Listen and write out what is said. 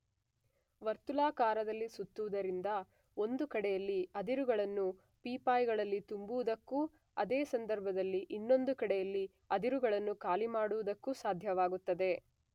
ವರ್ತುಳಾಕಾರದಲ್ಲಿ ಸುತ್ತುವುದರಿಂದ ಒಂದು ಕಡೆಯಲ್ಲಿ ಅದಿರುಗಳನ್ನು ಪೀಪಾಯಿಗಳಲ್ಲಿ ತುಂಬುವುದಕ್ಕೂ ಅದೇ ಸಂದರ್ಭದಲ್ಲಿ ಇನ್ನೊಂದು ಕಡೆಯಲ್ಲಿ ಅದಿರುಗಳನ್ನು ಖಾಲಿ ಮಾಡುವುದಕ್ಕೂ ಸಾಧ್ಯವಾಗುತ್ತದೆ.